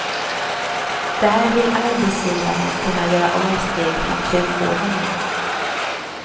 Där vill arbetsgivarna kunna göra avsteg från turordningen.